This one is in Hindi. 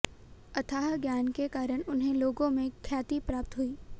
अथाह ज्ञान के कारण उन्हें लोगों में ख्याति प्राप्त हुई